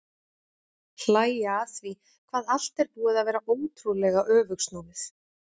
Hlæja að því hvað allt er búið að vera ótrúlega öfugsnúið.